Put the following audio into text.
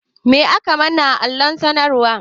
Me aka manna a kan allon sanarwan?